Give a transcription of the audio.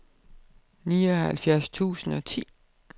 nioghalvfjerds tusind og ti